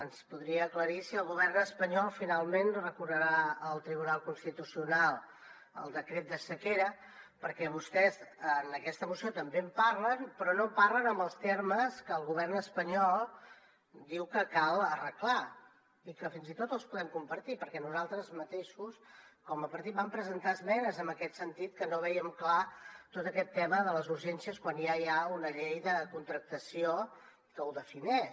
ens podria aclarir si el govern espanyol finalment recorrerà al tribunal constitucional contra el decret de sequera perquè vostès en aquesta moció també en parlen però no en parlen en els termes que el govern espanyol diu que cal arreglar i que fins i tot els podem compartir perquè nosaltres mateixos com a partit vam presentar esmenes en aquest sentit que no vèiem clar tot aquest tema de les urgències quan ja hi ha una llei de contractació que ho defineix